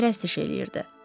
Arvadına pərəstiş eləyirdi.